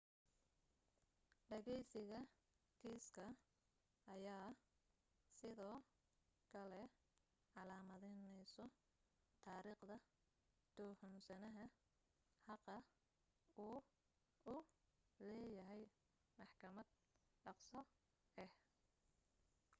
dhageysiga kiiska ayaa sidoo kale calaamadeyneyso taariikhda tuhunsanaha xaqa uu u leeyahay maxkamad dhaqso ah